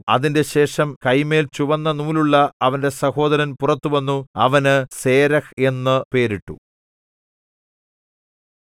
അതിന്‍റെശേഷം കൈമേൽ ചുവന്ന നൂലുള്ള അവന്റെ സഹോദരൻ പുറത്തു വന്നു അവന് സേരെഹ് എന്നു പേരിട്ടു